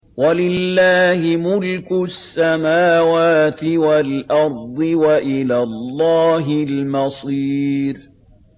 وَلِلَّهِ مُلْكُ السَّمَاوَاتِ وَالْأَرْضِ ۖ وَإِلَى اللَّهِ الْمَصِيرُ